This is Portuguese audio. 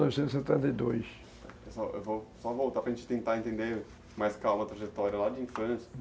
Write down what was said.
Pessoal, eu vou só voltar para gente tentar entender mais calma a trajetória lá de infância.